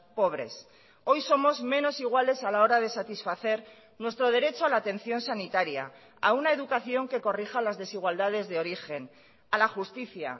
pobres hoy somos menos iguales a la hora de satisfacer nuestro derecho a la atención sanitaria a una educación que corrija las desigualdades de origen a la justicia